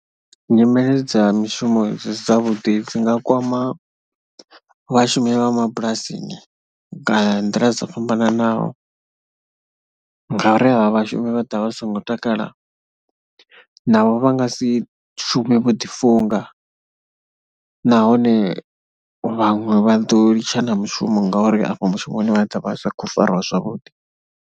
Nyimele dza mishumo dzi si dzavhuḓi dzi nga kwama vhashumi vha mabulasini nga nḓila dzo fhambananaho ngauri avha vhashumi vha ḓo vha vha si ngo takala navho vha nga si shume vho ḓifunga nahone vhaṅwe vha ḓo litsha na mushumo ngauri afha mushumoni vha ḓo vha sa khou fariwa zwavhuḓi.